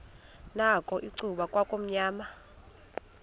nakho icuba kwakumnyama